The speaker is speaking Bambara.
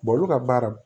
olu ka baara